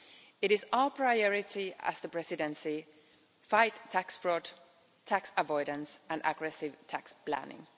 It is our priority as the Presidency to fight tax fraud, tax avoidance and aggressive tax planning.